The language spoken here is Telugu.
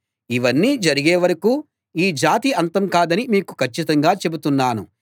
ఇవన్నీ జరిగే వరకూ ఈ జాతి అంతం కాదని మీకు కచ్చితంగా చెబుతున్నాను